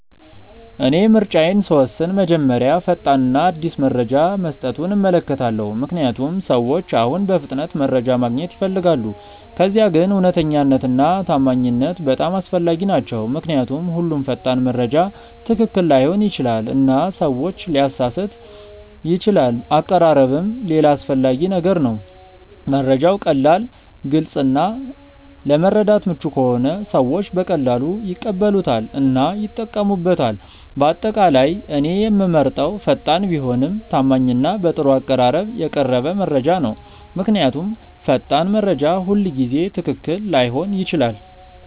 እኔ ምርጫዬን ስወስን መጀመሪያ ፈጣን እና አዲስ መረጃ መስጠቱን እመለከታለሁ፣ ምክንያቱም ሰዎች አሁን በፍጥነት መረጃ ማግኘት ይፈልጋሉ። ከዚያ ግን እውነተኛነት እና ታማኝነት በጣም አስፈላጊ ናቸው ምክንያቱም ሁሉም ፈጣን መረጃ ትክክል ላይሆን ይችላል እና ሰዎችን ሊያሳስት ይችላል አቀራረብም ሌላ አስፈላጊ ነገር ነው፤ መረጃው ቀላል፣ ግልጽ እና ለመረዳት ምቹ ከሆነ ሰዎች በቀላሉ ይቀበሉታል እና ይጠቀሙበታል። በአጠቃላይ እኔ የምመርጠው ፈጣን ቢሆንም ታማኝ እና በጥሩ አቀራረብ የቀረበ መረጃ ነው። ምክንያቱም ፈጣን መረጃ ሁልጊዜ ትክክል ላይሆን ይችላል።